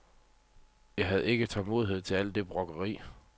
Jeg havde ikke tålmodighed til al det brokkeri.